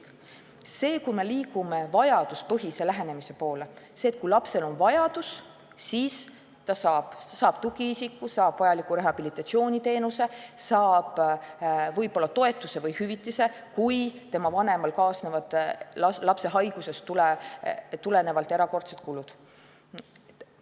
See on see, et me liigume vajaduspõhise lähenemise poole, selle poole, et kui lapsel on vajadus, siis saab ta tugiisiku, saab osa vajalikust rehabilitatsiooniteenusest, saab võib-olla toetust või hüvitist, kui vanemal kaasnevad lapse haigusest tulenevalt erakordsed kulud.